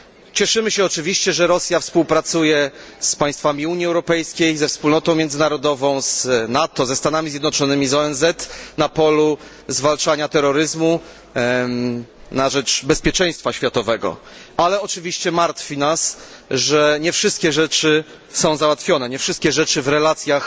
Cieszymy się oczywiście, że Rosja współpracuje z państwami Unii Europejskiej, ze wspólnotą międzynarodową, z NATO, ze Stanami Zjednoczonymi, z ONZ na polu zwalczania terroryzmu, na rzecz bezpieczeństwa światowego, ale oczywiście martwi nas, że nie wszystkie rzeczy są załatwione nie wszystkie rzeczy w relacjach